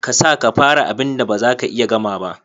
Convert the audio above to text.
Kasa ka fara abinda bazaka iya gama ba.